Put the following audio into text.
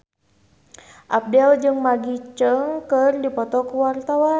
Abdel jeung Maggie Cheung keur dipoto ku wartawan